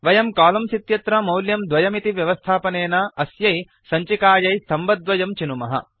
वयं कोलम्न्स् इत्यत्र मौल्यं 2 इति व्यवस्थापनेन अस्यै सञ्चिकायै स्तम्भद्वयं चिनुमः